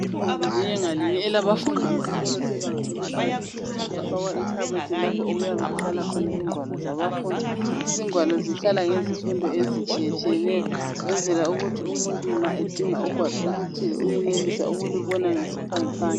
Igumbi linye ngalinye elabafundi besikolo sebanga eliphansi liyafakwa ikhabothi lapho okuyabe kuhlala khona ingwalo zabafundi. Izingwalo zihlala ngezifundo ezitshiyetshiyeneyo ukwenzela ukuthi umuntu nxa edinga ugwalo oluthile uyenelisa ukulubona ngesiphangiphangi.